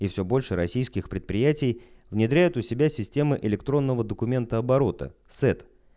и все больше российских предприятий внедряет у себя системы электронного документооборота сэд